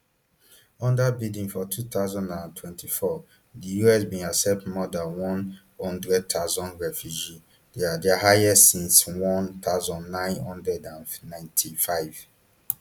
under biden for two thousand and twenty-four di us bin accept more dan one hundred thousand refugees dia dia highest since one thousand, nine hundred and ninety-five